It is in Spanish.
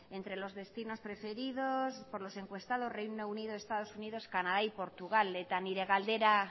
entre los destinos preferidos por los encuestados reino unido estados unidos canadá y portugal eta nire galdera